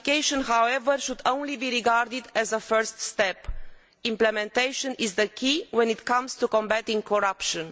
Ratification, however, should only be regarded as a first step implementation is the key when it comes to combating corruption.